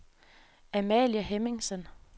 Amalie Hemmingsen